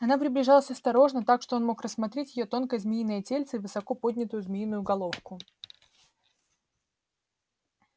она приближалась осторожно так что он мог рассмотреть её тонкое змеиное тельце и высоко поднятую змеиную головку